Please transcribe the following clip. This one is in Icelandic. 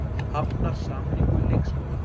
Hafnar sameiningu leikskóla